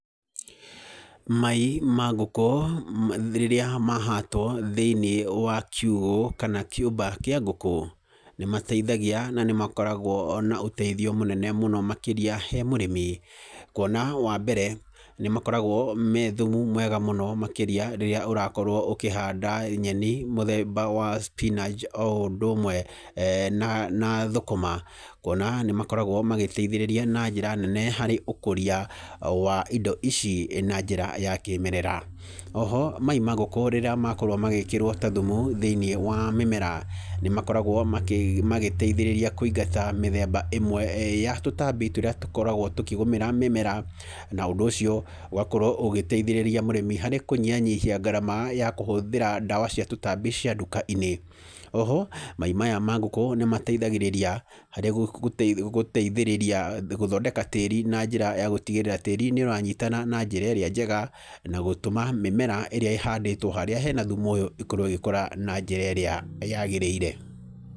Mai ma ngũkũ rĩrĩa mahatwo thĩinĩ wa kiugũ, kana kĩũmba kĩa ngũkũ, nĩ mateithagia, na nĩ makoragwo ona ũteithio mũnene mũno makĩria he mũrĩmi kuona, wa mbere nĩ makoragwo me thumu mwega mũno makĩria rĩrĩa ũrakorwo ũkĩhanda nyeni mũthemba wa spinach o ũndũ ũmwe na thũkũma. Kuona nĩ makoragwo magĩteithĩrĩria na njĩra nene harĩ ũkũria wa indo ici na njĩra ya kĩmerera. Oho mai ma ngũkũ rĩrĩa makorwo magĩkĩrwo ta thumu thĩiniĩ wa mĩmera, nĩ makoragwo magĩteithĩrĩria kũingata mĩthemba ĩmwe ya tũtambi tũrĩa tũkoragwo tũkĩgũmĩra mĩmera, na ũndũ ũcio ũgakorwo ũgĩteithĩrĩria mũrĩmi harĩ kũnyihanyihia ngarama ya kũhũthĩra ndawa cia tũtambi cia nduka-inĩ. Oho mai maya ma ngũkũ nĩ mateithagĩrĩria harĩ gũteithĩrĩria gũthondeka tĩĩri na njĩra ya gũtigĩrĩra tĩĩri nĩ ũranyitana na njĩra ĩrĩa njega, na gũtũma mĩmera ĩrĩa ĩhandĩtwo harĩa hena thumu ũyũ ikorwo igĩkũra na njĩra ĩrĩa yagĩrĩire.